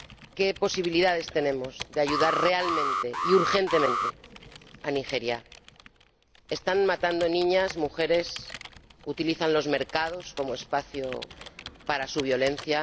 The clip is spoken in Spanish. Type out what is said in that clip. ¿Qué posibilidades tenemos de ayudar real y urgentemente a Nigeria? Están matando a niñas y a mujeres, utilizan los mercados como espacio para su violencia.